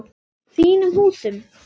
Þínum húsum?